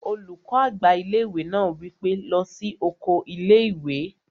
Olùkọ́ àgbà ilé-ìwé náà wí pé, "lọ sí oko ilé-ìwé!"